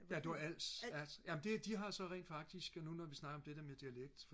ja det var Als ja jamen det de har rent faktisk nu hvor vi snakker om det der med dialekt